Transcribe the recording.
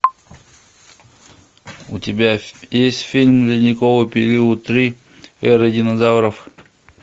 у тебя есть фильм ледниковый период три эра динозавров